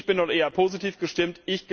Ich bin nun eher positiv gestimmt.